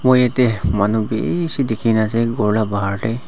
moi yate manu bishi dikhi na ase ghor lah bahar teh.